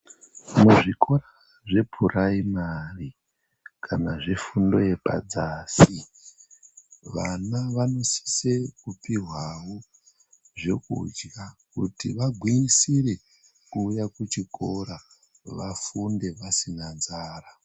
Muzvikora zvepuraimari kana zvefundo yepadzasi, vana vanosise kupihwawo zvekudya, kuti vagwinyisire kuuya kuchikora vafunde vasina nzara.